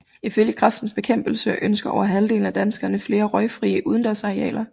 Ifølge Kræftens Bekæmpelse ønsker over halvdelen af danskerne flere røgfrie udendørsarealer